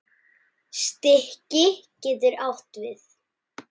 Stiki getur átt við